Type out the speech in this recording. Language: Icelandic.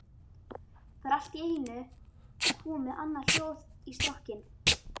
Það er allt í einu komið annað hljóð í strokkinn.